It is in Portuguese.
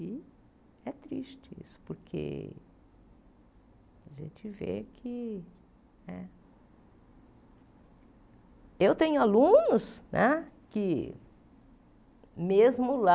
E é triste isso, porque a gente vê que né... Eu tenho alunos né que, mesmo lá,